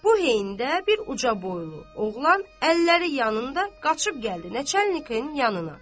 Bu heydə bir uca boylu oğlan əlləri yanında qaçıb gəldi Neçə əliqin yanına.